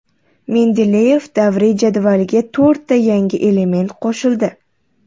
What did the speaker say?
Mendeleyev davriy jadvaliga to‘rtta yangi element qo‘shildi.